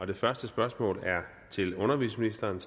det første spørgsmål er til undervisningsministeren